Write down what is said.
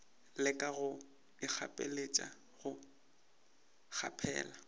leka go ikgapeletša go kgaphela